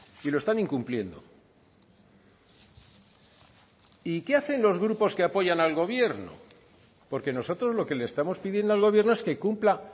y lo están incumpliendo y qué hacen los grupos que apoyan al gobierno porque nosotros lo que le estamos pidiendo al gobierno es que cumpla